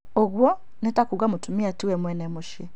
ũguo nĩ ta kuuga mũtumia tiwe mwene mũcĩĩ